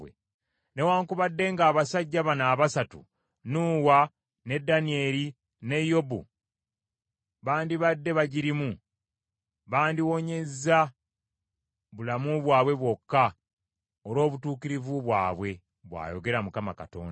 newaakubadde ng’abasajja bano abasatu Nuuwa, ne Danyeri, ne Yobu bandibadde bagirimu, bandiwonyeza bulamu bwabwe bwokka olw’obutuukirivu bwabwe, bw’ayogera Mukama Katonda.